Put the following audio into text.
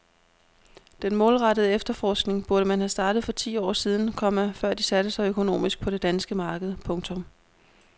Den målrettede efterforskning burde man have startet for ti år siden, komma før de satte sig økonomisk på det danske marked. punktum